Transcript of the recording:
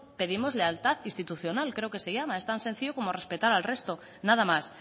pedimos lealtad institucional creo que se llama es tan sencillo como respetar al resto nada más